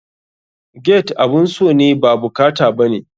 Gate abun so ne ba bukata bane.